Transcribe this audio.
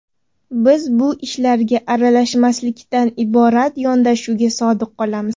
Biz bu ishlarga aralashmaslikdan iborat yondashuvga sodiq qolamiz.